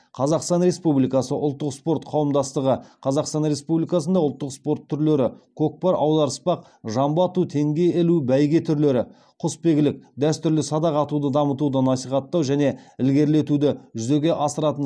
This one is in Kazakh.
қазақстан республикасы ұлттық спорт қауымдастығы қазақстан республикасында ұлттық спорт түрлері көкпар аударыспақ жамбы ату теңге ілу бәйге түрлері құсбегілік дәстүрлі садақ атуды дамытуды насихаттау және ілгерілетуді жүзеге асыратын